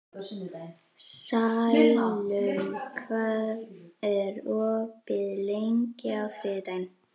Sælaug, hvað er opið lengi á þriðjudaginn?